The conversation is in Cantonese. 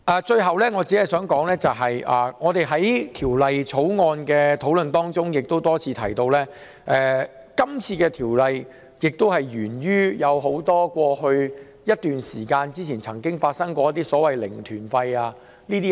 最後，在《條例草案》的討論過程中，我們多次提到，《條例草案》源於過去一段時間曾出現的"零團費"旅行團。